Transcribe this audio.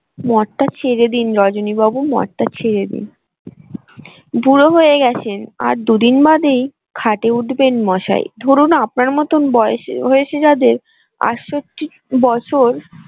মদটা ছেড়ে দিন রজনী বাবু মদটা ছেড়ে দিন বুড়ো হয়ে গেছেন আর দুদিন বাদেই খাটে উঠবেন মশাই ধরুন আপনার মতোন বয়সে হয়েছে যাদের বছর।